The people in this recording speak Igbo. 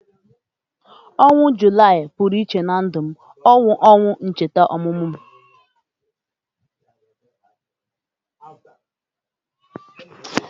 Ọnwa Julaị pụrụ iche na ndu me. Ọ bu onwa ncheta ọmụmụ m